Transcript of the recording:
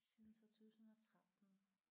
Siden 2013